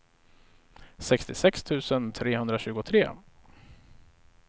sextiosex tusen trehundratjugotre